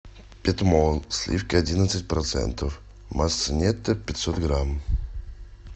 петмол сливки одиннадцать процентов масса нетто пятьсот грамм